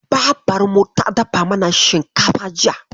Babarmu ta dafa mana shinkafa jiya.